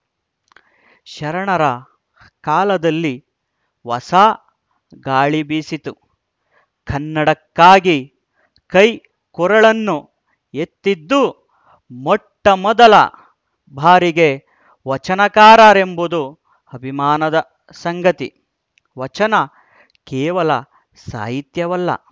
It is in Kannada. ಶರಣರ ಕಾಲದಲ್ಲಿ ಹೊಸ ಗಾಳಿ ಬೀಸಿತು ಕನ್ನಡಕ್ಕಾಗಿ ಕೈಕೊರಳನ್ನು ಎತ್ತಿದ್ದು ಮೊಟ್ಟಮೊದಲ ಬಾರಿಗೆ ವಚನಕಾರರೆಂಬುದು ಅಭಿಮಾನದ ಸಂಗತಿ ವಚನ ಕೇವಲ ಸಾಹಿತ್ಯವಲ್ಲ